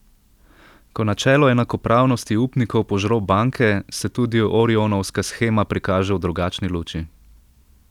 Ko načelo enakopravnosti upnikov požro banke, se tudi orionovska shema prikaže v drugačni luči.